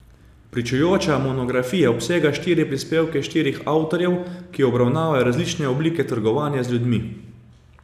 Pričujoča monografija obsega štiri prispevke štirih avtorjev, ki obravnavajo različne oblike trgovanja z ljudmi.